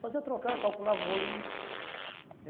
Fazia trocar, calculava o volume.